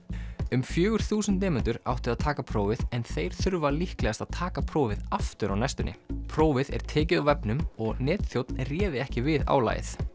um fjögur þúsund nemendur áttu að taka prófið en þeir þurfa líklegast að taka prófið aftur á næstunni prófið er tekið á vefnum og netþjónn réði ekki við álagið